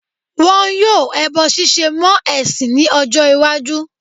Wọn yóò ẹbọ ṣíṣe mọ́ ẹ̀sìn ní ọjọ́-ìwájú.